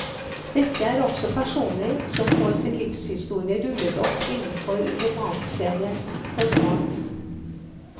Dette er også personer som får sin livshistorie rullet opp innenfor romanseriens format.